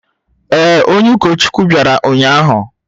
Ee, onye ụkọchukwu bịara ụnyahụ.